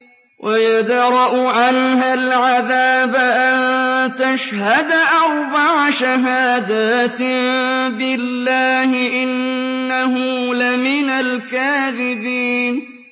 وَيَدْرَأُ عَنْهَا الْعَذَابَ أَن تَشْهَدَ أَرْبَعَ شَهَادَاتٍ بِاللَّهِ ۙ إِنَّهُ لَمِنَ الْكَاذِبِينَ